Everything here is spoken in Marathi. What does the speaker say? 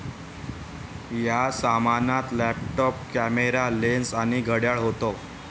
या सामानात लॅपटॉप, कॅमेरा, लेन्स आणि घड्याळ होतं.